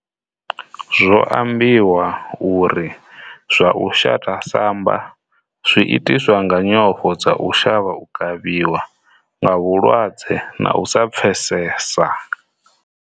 Zwo ambiwa uri zwa u shata samba zwi itiswa nga nyofho dza u shavha u kavhiwa nga vhulwadze na u sa pfesesa.